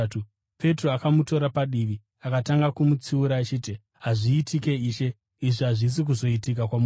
Petro akamutora padivi akatanga kumutsiura achiti, “Hazviitiki, Ishe. Izvi hazvisi kuzoitika kwamuri!”